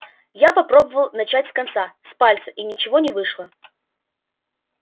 я попробовал начать с конца с пальца и ничего не вышло